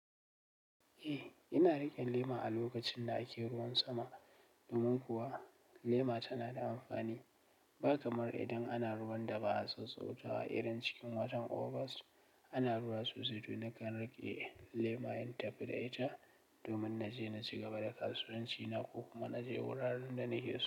Eh, ina riƙe lema a lokacin da ake ruwan sama. Domin kuwa lema tana da amfani. Ba kamar idan ana ruwan da ba'a sassautawa irin cikin watan August, ana ruwa sosai to nakan riƙe lema in tafi da ita, domin na je na ci gaba da kasuwanci na ko kuma na je wuraren da nake so.